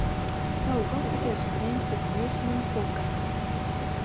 Þá er gott að gera sér grein fyrir mismun bókanna.